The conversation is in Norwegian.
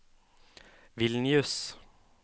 Vilnius